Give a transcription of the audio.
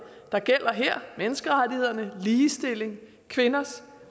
der gælder her menneskerettigheder ligestilling og kvinders